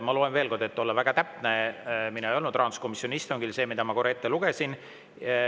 Ma loen veel kord, et olla väga täpne – mina ei olnud rahanduskomisjoni istungil –, seda, mida ma korra ette lugesin.